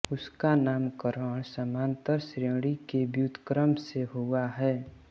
इसका नामकरण समान्तर श्रेणी के व्युत्क्रम से हुआ है